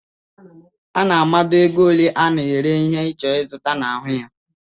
Ana a mado égo ole ana ere ihe i chọrọ izụta n'ahụ ya.